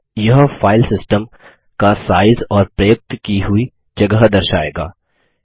यहाँ यह फाइलसिस्टम का साइज़ और प्रयुक्त की हुई जगह दर्शाएगा